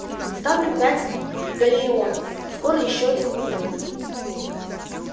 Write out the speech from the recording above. ставлю пять галлеонов скоро ещё один умрёт